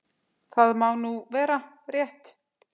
Það má vera rétt.